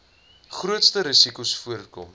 grootste risikos voorkom